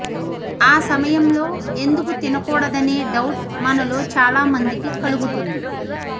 ఆ సమయంలో ఎందుకు తినకూడదనే డౌట్ మనలో చాలా మందికి కలుగుతుంది